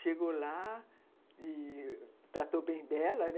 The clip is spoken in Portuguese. Chegou lá e tratou bem dela, né.